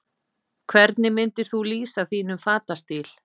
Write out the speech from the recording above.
Hvernig myndir þú lýsa þínum fatastíl?